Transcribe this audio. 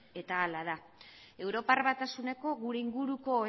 eta hala da europar batasuneko gure inguruko